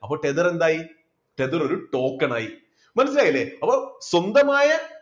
അപ്പ tether എന്തായി tether ഒരു token ആയി മനസ്സിലായില്ലേ അപ്പോ സ്വന്തമായ